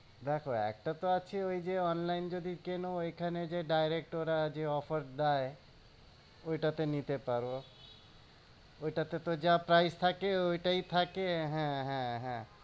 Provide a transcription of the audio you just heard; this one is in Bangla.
দেখো একটা তো আছে ওই যে online যদি কেন ঐখানে যে direct ওরা যে offer দেয় ওইটা তে নিতে পারো। ওইটা তে তো যা price থাকে ওইটাই থাকে। হ্যাঁ হ্যাঁ হ্যাঁ